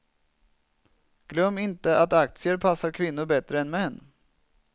Glöm inte att aktier passar kvinnor bättre än män.